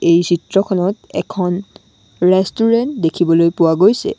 এই চিত্ৰখনত এখন ৰেষ্টুৰেণ্ট দেখিবলৈ পোৱা গৈছে।